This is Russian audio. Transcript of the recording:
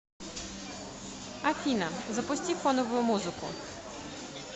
афина запусти фоновую музыку